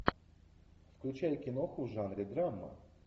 включай киноху в жанре драма